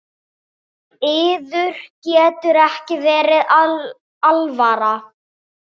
Yður getur ekki verið alvara?